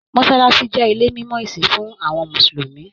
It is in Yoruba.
Mọsálásí jẹ ilé mimọ ìsìn fún àwọn mùsùlùmí.